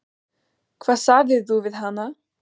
Hvað sagðirðu við hana?